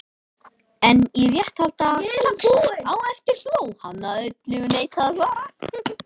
En í réttarhaldi strax á eftir hló hann að öllu og neitaði að svara.